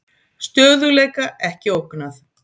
Stöðugleika ekki ógnað